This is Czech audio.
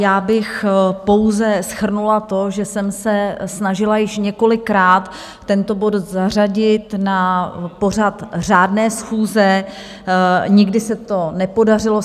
Já bych pouze shrnula to, že jsem se snažila již několikrát tento bod zařadit na pořad řádné schůze, nikdy se to nepodařilo.